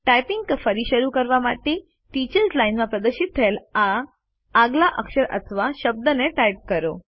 typing ફરી શરૂ કરવા માટે ટીચર્સ લાઇન માં પ્રદર્શિત થયેલ આગલા અક્ષર અથવા શબ્દને ટાઇપ કરો